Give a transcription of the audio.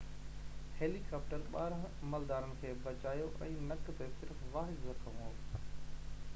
هيليڪاپٽرن ٻارنهن عملدارن کي بچايو ۽ نڪ تي صرف واحد زخم هو